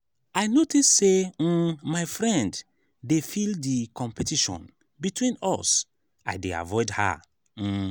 i notice say um my friend dey feel di competition between us i dey avoid her. um